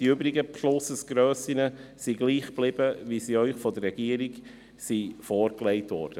Die übrigen Grössen sind gleichgeblieben, wie sie Ihnen von der Regierung vorgelegt wurden.